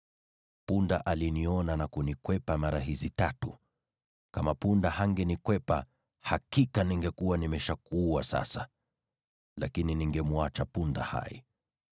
Punda aliniona na kunikwepa mara hizi tatu. Kama punda hangenikwepa, hakika ningekuwa nimeshakuua sasa, lakini ningemwacha punda hai.”